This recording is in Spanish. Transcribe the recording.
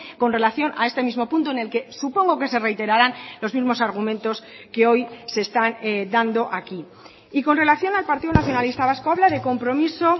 con relación a este mismo punto en el que supongo que se reiterarán los mismos argumentos que hoy se están dando aquí y con relación al partido nacionalista vasco habla de compromiso